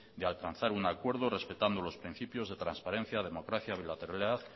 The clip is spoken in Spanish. de alcanzar un acuerdo respetando los principios de transparencia democracia bilateralidad